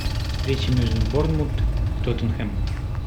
встреча между борнмут тоттенхэм